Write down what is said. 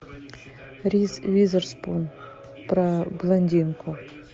риз уизерспун про блондинку